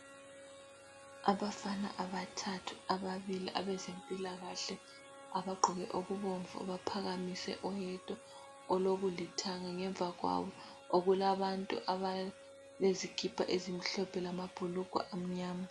Abafana abathathu, ababili abezempilakahle abagqoke okubomvu baphakamise oyedwa olokulithanga. Ngemva kwabo kulabantu abelezikipa ezimhlophe lamabhulugwa amnyama.